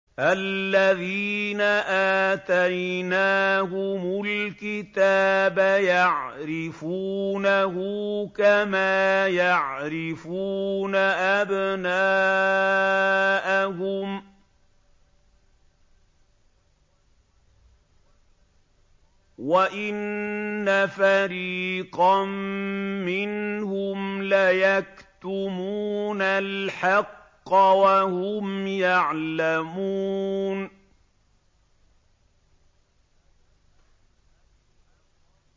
الَّذِينَ آتَيْنَاهُمُ الْكِتَابَ يَعْرِفُونَهُ كَمَا يَعْرِفُونَ أَبْنَاءَهُمْ ۖ وَإِنَّ فَرِيقًا مِّنْهُمْ لَيَكْتُمُونَ الْحَقَّ وَهُمْ يَعْلَمُونَ